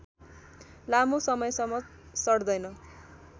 लामो समयसम्म सड्दैन